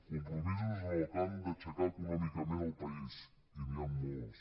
compromisos en el camp d’aixecar econòmicament el país i n’hi han molts